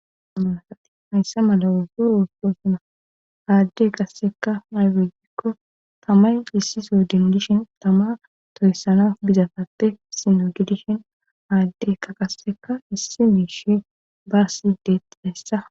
Hamasati hayssa mala wuzzo urfoosuna aadde qasseka ay wegikko tamay issiso dindishin tama tohyssana bizafapte sino gidishin aaddekka qasseka issi miishi baasidet heessa.